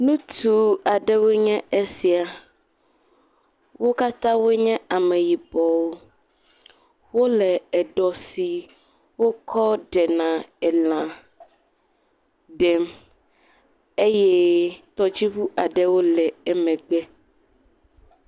Nutsu aɖewoe nyeesia. Wo katã wonye Ameyibɔwo. Wole eɖɔ si wokɔ ɖena elã ɖem. Eye tɔdziŋu aɖe le wo megbe.